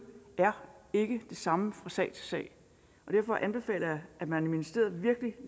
ikke det samme fra sag til sag og derfor anbefaler jeg at man i ministeriet virkelig